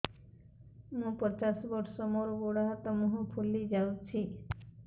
ମୁ ପଚାଶ ବର୍ଷ ମୋର ଗୋଡ ହାତ ମୁହଁ ଫୁଲି ଯାଉଛି